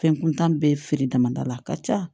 Fɛn kuntan bɛ feere damadɔ la a ka ca